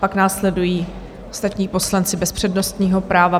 Pak následují ostatní poslanci bez přednostního práva.